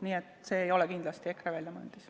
Nii et see ei ole kindlasti EKRE väljamõeldis.